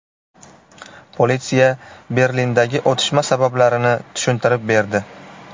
Politsiya Berlindagi otishma sabablarini tushuntirib berdi.